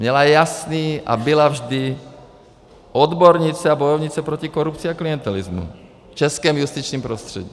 Měla jasný a byla vždy odbornice a bojovnice proti korupci a klientelismu v českém justičním prostředí.